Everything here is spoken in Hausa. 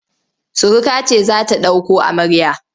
Suruka ce za ta ɗauko amarya.